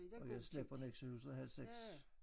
Og jeg slap fra Nexøhuset halv 6